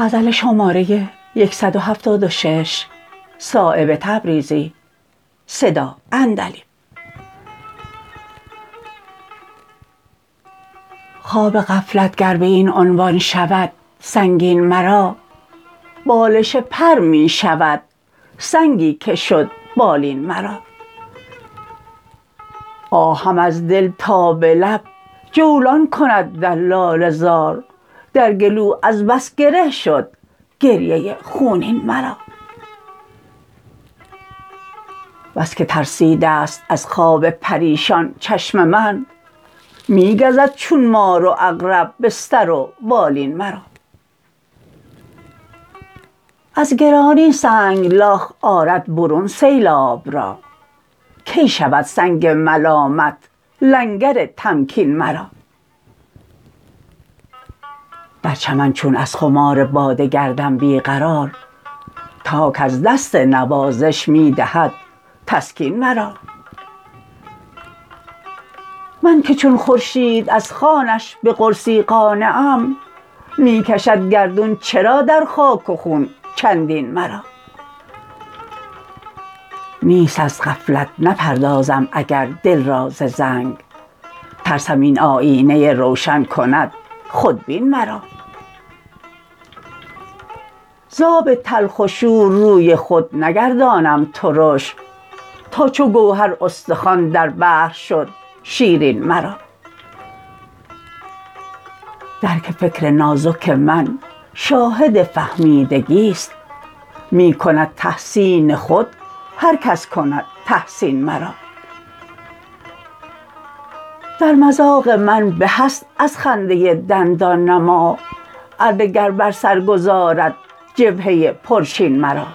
خواب غفلت گر به این عنوان شود سنگین مرا بالش پر می شود سنگی که شد بالین مرا آهم از دل تا به لب جولان کند در لاله زار در گلو از بس گره شد گریه خونین مرا بس که ترسیده است از خواب پریشان چشم من می گزد چون مار و عقرب بستر و بالین مرا از گرانی سنگلاخ آرد برون سیلاب را کی شود سنگ ملامت لنگر تمکین مرا در چمن چون از خمار باده گردم بی قرار تاک از دست نوازش می دهد تسکین مرا من که چون خورشید از خوانش به قرصی قانعم می کشد گردون چرا در خاک و خون چندین مرا نیست از غفلت نپردازم اگر دل را ز زنگ ترسم این آیینه روشن کند خودبین مرا ز آب تلخ و شور روی خود نگرداندم ترش تا چو گوهر استخوان در بحر شد شیرین مرا درک فکر نازک من شاهد فهمیدگی است می کند تحسین خود هر کس کند تحسین مرا در مذاق من به است از خنده دندان نما اره گر بر سر گذارد جبهه پرچین مرا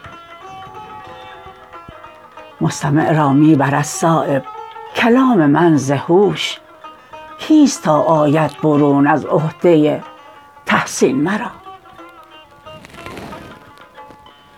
مستمع را می برد صایب کلام من ز هوش کیست تا آید برون از عهده تحسین مرا